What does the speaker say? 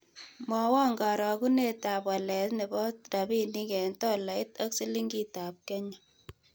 Mwawon karogunetap walet ne po rabinik eng' tolait ak silingitap Kenya